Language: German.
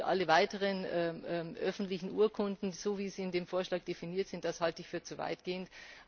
Alle weiteren öffentlichen Urkunden, so wie sie in dem Vorschlag definiert sind, halte ich für zu weitgehend.